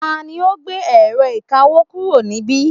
tani ó gbé ẹ̀rọ ìkawó kúrò níbí